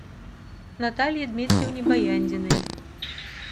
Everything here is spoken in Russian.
наталье дмитриевне баяндиной